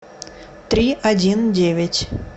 три один девять